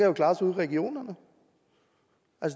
jo klares ude i regionerne